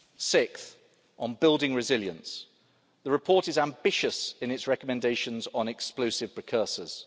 with. Sixth, on building resilience, the report is ambitious in its recommendations on explosives precursors.